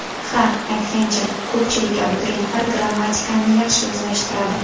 Ha, aytgancha, ko‘pchilik abituriyentlar grammatikani yaxshi o‘zlashtiradi.